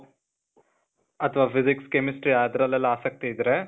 ಅಥವಾ physics, chemistry ಅದ್ರಲ್ಲೆಲ್ಲಾ ಆಸಕ್ತಿ ಇದ್ರೆ,